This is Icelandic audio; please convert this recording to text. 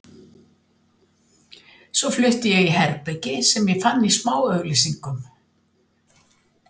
Svo flutti ég í herbergi sem ég fann í smáauglýsingunum.